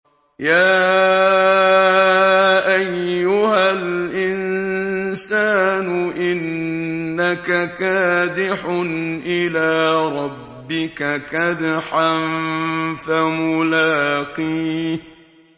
يَا أَيُّهَا الْإِنسَانُ إِنَّكَ كَادِحٌ إِلَىٰ رَبِّكَ كَدْحًا فَمُلَاقِيهِ